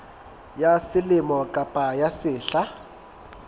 ya selemo kapa ya sehla